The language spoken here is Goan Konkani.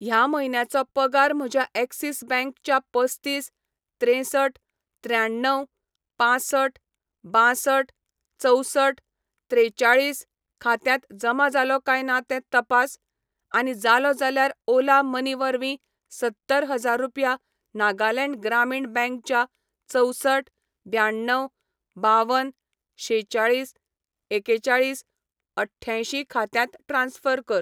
ह्या म्हयन्याचो पगार म्हज्या ऍक्सिस बॅंक च्या पस्तीस त्रेंसठ त्र्याण्णव पांसठ बांसठ चवसठ त्रेचाळीस खात्यांत जमा जालो काय ना तें तपास, आनी जालो जाल्यार ओला मनी वरवीं सत्तर हजार रुपया नागालँड ग्रामीण बँक च्या चवसठ ब्याण्णव बावन शेचाळीस एकेचाळीस अठ्यांयशी खात्यांत ट्रान्स्फर कर.